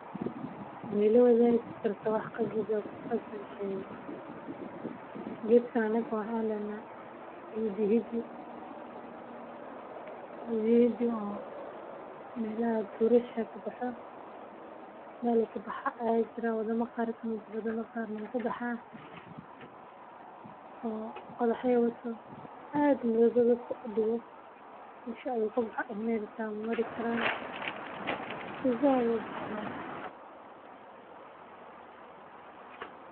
Ma ila waadigi kartaa sheeka la jeclaan lahaa nadafada inaay ahaato sifican loogu abuuri karo hadii aad rabto waxaad tageysa meesha aay ku haboon tahay waana nafaqo leh waxaa kale oo muhiim u ah bulshada dexdeeda sababta oo ah.